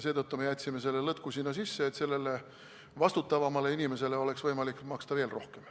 Seetõttu me jätsime selle lõtku sinna sisse, et vastutavamale inimesele oleks võimalik maksta veel rohkem.